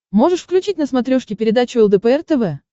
можешь включить на смотрешке передачу лдпр тв